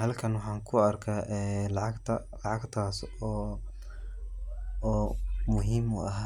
Halkan waxaan ku arkaa ee lacagta lacagtaas oo muhiim u ah